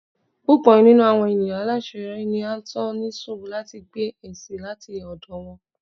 pupọ ninú awọn eniyan alaṣeyọri ni a n tọ ní surú lati gbá esi lati ọdọ wọn